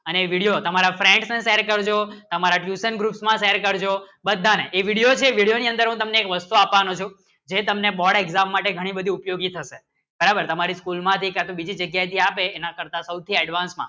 અને video તમારા friend ને share કરજો તમારા tuition group માં share કરજો બધાને એ video છે એ video ની અંદર તમને એક વસ્તુ આપવાનું જે તમને board exam માટે ઘણું બધું ઉપયોગી થશે બરાબર તમારી school માટે advance માં